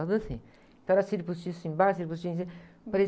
assim. Então era cílio postiço embaixo, cílio postiço em cima.